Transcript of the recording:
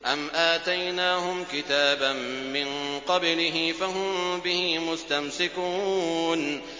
أَمْ آتَيْنَاهُمْ كِتَابًا مِّن قَبْلِهِ فَهُم بِهِ مُسْتَمْسِكُونَ